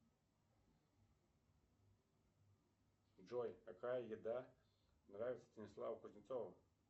джой какая еда нравится станиславу кузнецову